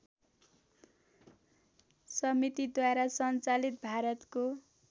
समितिद्वारा सञ्चालित भारतको